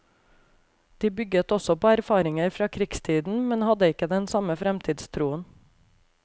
De bygget også på erfaringer fra krigstiden, men hadde ikke den samme fremtidstroen.